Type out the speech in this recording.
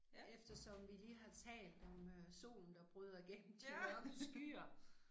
Eftersom vi lige har talt om øh solen der bryder gennem de mørke skyer